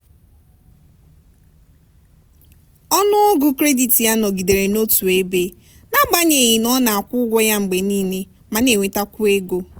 ọnụọgụ kredit ya nọgidere n'otu ebe n'agbanyeghị na ọ na-akwụ ụgwọ ya mgbe niile ma na-enwetakwu ego.